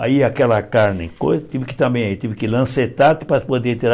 Aí aquela carne, tive que também, tive que lancetar para poder tirar.